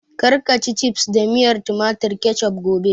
Kar ka ci cifs da miyar tumatir (Ketchup) gobe!